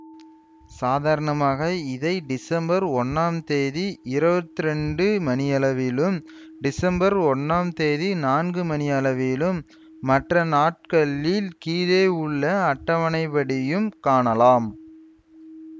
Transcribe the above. சாதாரணமாக இதை டிசம்பர் ஒன்னாம் தேதி இருவத்தி இரண்டு மணியளவிலும் செப்டம்பர் ஒன்னாம் தேதி நான்கு மணி அளவிலும் மற்ற நாட்களில் கீழே உள்ள அட்டவணைப்படியும் காணலாம்